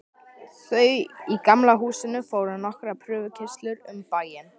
Þau í Gamla húsinu fóru nokkrar prufukeyrslur um bæinn.